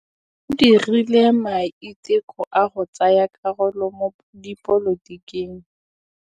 O dirile maitekô a go tsaya karolo mo dipolotiking.